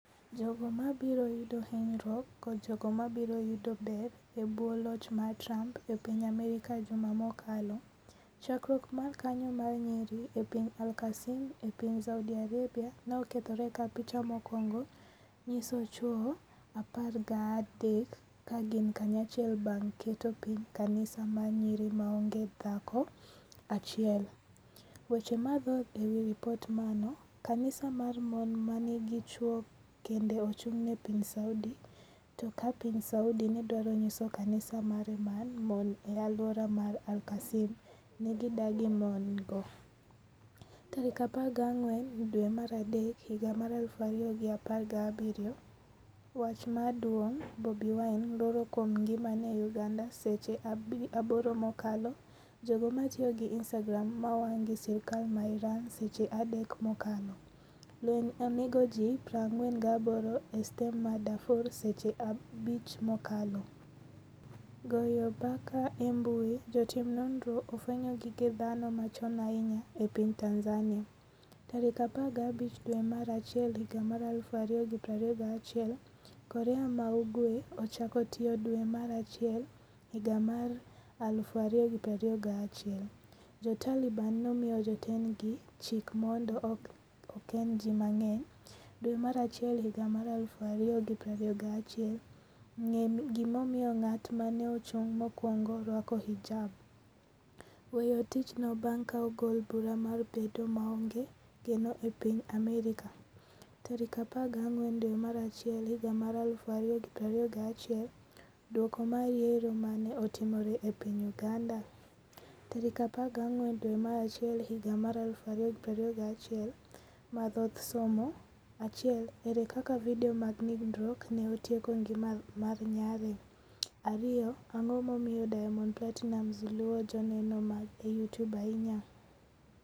Jogo mabiro yudo hinyruok kod jogo mabiro yudo ber e bwo loch mar Trump e piny Amerka Juma mokalo, chakruok mar kanyo mar nyiri e piny al-Qassim e piny Saudi Arabia ne okethore ka picha mokwongo nyiso chwo 13 ka gin kanyachiel bang’ keto piny kanisa mar nyiri maonge dhako achiel Weche mathoth ewi ripot Mano Kanisa mar mon manigi chwo kende ochung'ne piny Saudi To ka piny Saudi nedwaro nyiso kanisa mare mar mon e alwora mar al-Qassim ne gidagi mon go 14 dwe mar adek 2017 Wach maduong' Bobi Wine. 'luoro kuom ngimane' Uganda Seche 8 mokalo Jogo matiyo gi Instagram mawang' gi sirikal mar Iran Seche 3 mokalo Lweny onego ji 48 e stem mar Darfur Seche 5 mokalo Goyo mbaka e mbui Jotim nonro ofwenyo gige dhano machon ahinya e piny Tanzania 15 dwe mar achiel higa mar 2021 Korea ma Ugwe ochako tiyo dwe mar achiel higa mar 2021 Jo Taliban nomiyo jotendgi chik mondo okend ji mang’eny dwe mar achiel higa mar 2021 ng'e gimomiyo ng'at ma ne ochung' mokuongo rwako hijab â€ ?weyo tichnoâ€TM bang' ka ogol bura mar bedo maonge geno e piny Amerka tarik 14 dwe mar achiel higa mar 2021 Duoko mar Yiero mane otimre e piny Uganda tarik 14 dwe mar achiel higa mar 2021 Mathoth somo 1 Ere kaka video mag nindruok ne otieko ngima mar nyare 2 Ang'o momiyo Diamond Platinumz luwo joneno mage e YouTube ahinya?